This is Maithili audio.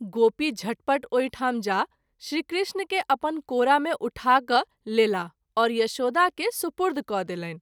गोपी झटपट ओहि ठाम जा श्री कृष्ण के अपन कोरा मे उठा कय लेलाह और यशोदा के सुपुर्द क’ देलनि।